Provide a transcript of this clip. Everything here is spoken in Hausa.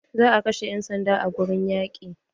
Za a kashe 'yan sanda a wurin yaƙi.